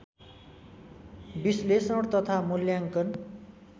विश्लेषण तथा मूल्याङ्कन